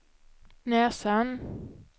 näsan